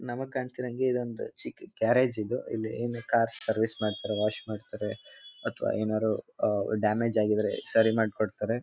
ನಮಗ್ ಕಾಣ್ತಿರೋ ಹಂಗೆ ಇದೊಂದು ಚಿಕ್ಕ ಗ್ಯಾರೇಜ ಇದು ಇಲ್ಲಿ ಏನ್ ಕಾರ್ ಸರ್ವಿಸ್ ಮಾಡ್ತಾರೆ ವಾಶ್ ಮಾಡ್ತಾರೆ ಅಥವಾ ಏನಾದ್ರು ಡ್ಯಾಮೇಜ್ ಆಗಿದ್ರೆ ಸರಿ ಮಾಡಿ ಕೊಡ್ತಾರೆ.